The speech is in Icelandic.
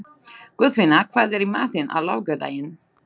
Guðfinna, hvað er í matinn á laugardaginn?